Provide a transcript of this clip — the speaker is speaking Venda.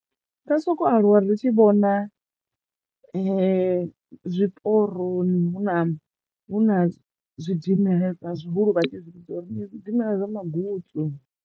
Nda soko aluwa ri tshi vhona zwiporoni hu na hu na zwidimela he zwi ḽa zwihulu vhatshi vhidza uri ndi zwi dimela zwa magutswu.